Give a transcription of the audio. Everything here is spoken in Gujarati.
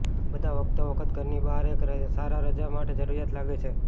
બધા વખતોવખત ઘરની બહાર એક સારા રજા માટે જરૂરિયાત લાગે છે